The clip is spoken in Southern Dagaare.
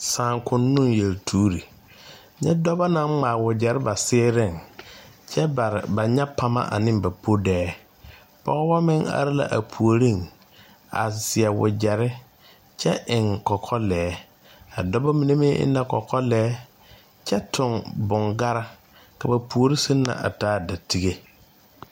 Saakonnoo yeltuure nyɛ dɔba naŋ ŋmaa wagyere ba seereŋ kyɛ pari ba nyapama ane ba podeɛ pɔgeba meŋ are la a puoriŋ a seɛ wagyere kyɛ eŋ kɔkɔ lɛɛ a dɔba mine meŋ eŋ la kɔkɔ lɛɛ kyɛ tuŋ boŋkara ka ba puori seŋ na a taa datege